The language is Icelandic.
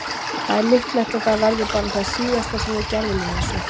Það er líklegt að það verði bara það síðasta sem við gerðum í þessu.